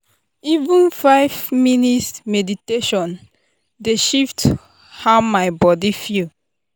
even five minutes meditation dey shift how my body feel.